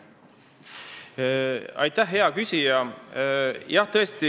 Aitäh, hea küsija!